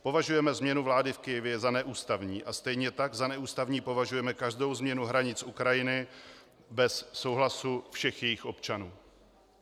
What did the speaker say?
Považujeme změnu vlády v Kyjevě za neústavní a stejně tak za neústavní považujeme každou změnu hranic Ukrajiny bez souhlasu všech jejích občanů."